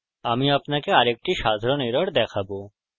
আমি আপনাকে আরেকটি সাধারণ error দেখাবো